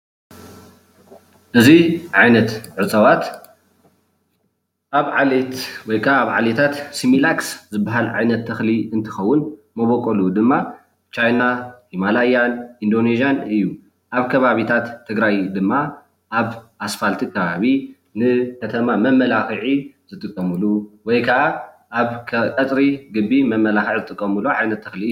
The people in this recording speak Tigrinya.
እዚ ዓይነት እፅዋት ኣብ ዓሌት ወይ ከዓ ዓሌታት ስሚላክስ ዝባሃል ዓይነት ተክሊ እንትከውን መበቆሉ ድማ ቻይና፣ ማላያል፣ ኢንዶኔዥያን እዩ፡፡ ኣብ ከባቢታት ትግራይ ድማ ኣብ ኣስፓልቲ ከባቢ ንከተማ መመላክዒ ዝጥቀምሉ ወይ ከዓ ኣብ ቀፅሪ ግቢ መመላክዒ ዝጥቀምሉ ዓይነት ተክሊ እዩ፡፡